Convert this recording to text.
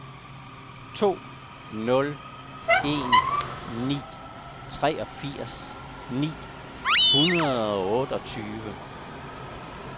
to nul en ni treogfirs ni hundrede og otteogtyve